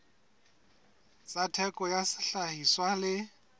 tsa theko ya sehlahiswa le